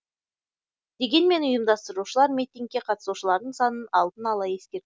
дегенмен ұйымдастырушылар митингке қатысушылардың санын алдын ала ескертулері тиіс